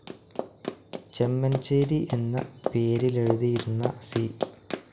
ചെമൻചേരി എന്ന പേരിലെഴുതിയിരുന്ന സി.